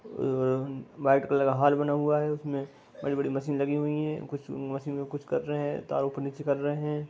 अ white colour का hall बना हुआ है उसमें बड़ी-बड़ी मशीन लगी हुई हैं कुछ मशीन में कुछ कर रहे हैं। तार ऊपर नीचे कर रहे हैं।